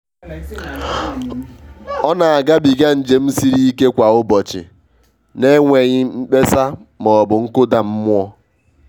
ọ na agabiga njem siri ike kwa ụbọchị n'enweghị mkpesa ma ọ bụ nkụda mmụọ.